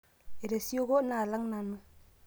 etesioko naalang nanu